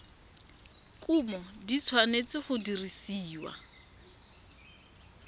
kumo di tshwanetse go dirisiwa